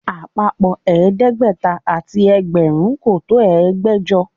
Àpapọ̀ ẹ̀ẹ́dẹ́gbẹ̀ta àti ẹgbẹ̀rún kò tó ẹgbẹ̀jọ